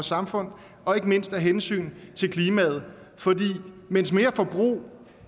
samfundet og ikke mindst af hensyn til klimaet for mens mere forbrug